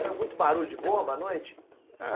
Era muito barulho de bomba à noite? Ah